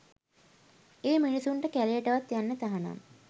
ඒ මිනිස්සුන්ට කැලේටවත් යන්න තහනම්